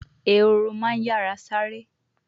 Ehoro ma n yara sare